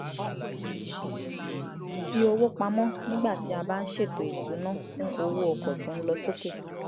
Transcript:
fi owó pamọ́ nígbà tí a bá ń ṣètò ìsuná fún owó ọkọ̀ tó ń lọ sókè